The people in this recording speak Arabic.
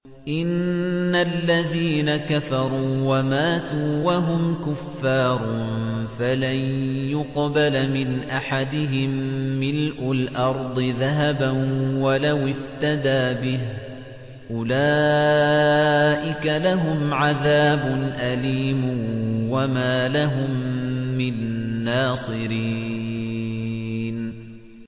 إِنَّ الَّذِينَ كَفَرُوا وَمَاتُوا وَهُمْ كُفَّارٌ فَلَن يُقْبَلَ مِنْ أَحَدِهِم مِّلْءُ الْأَرْضِ ذَهَبًا وَلَوِ افْتَدَىٰ بِهِ ۗ أُولَٰئِكَ لَهُمْ عَذَابٌ أَلِيمٌ وَمَا لَهُم مِّن نَّاصِرِينَ